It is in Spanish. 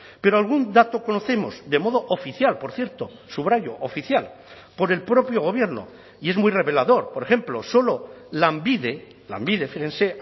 pero algún dato conocemos de modo oficial por cierto subrayo oficial por el propio gobierno y es muy revelador por ejemplo solo lanbide lanbide fíjense